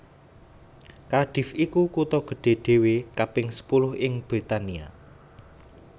Cardiff iku kutha gedhé dhéwé kaping sepuluh ing Britania